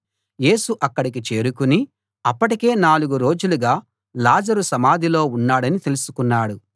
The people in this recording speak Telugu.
యేసు అక్కడికి చేరుకుని అప్పటికే నాలుగు రోజులుగా లాజరు సమాధిలో ఉన్నాడని తెలుసుకున్నాడు